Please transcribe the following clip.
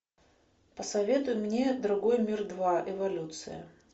посоветуй мне другой мир два эволюция